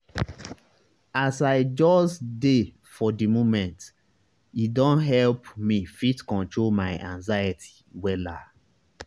as i just dey for di momente don help me fit control my control my anxiety wella.